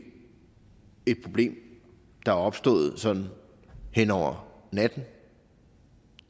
er et problem der er opstået sådan hen over natten